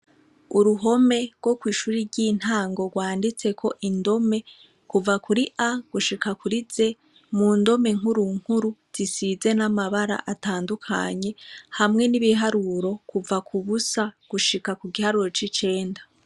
Uruhome rwo kw'ishuri ry'intango rwanditseko indome kuva kuri a gushika kuri ze mu ndome nkurunkuru zisize n'amabara atandukanye hamwe n'ibiharuro kuva ku busa gushika ku giharuro c'icenda.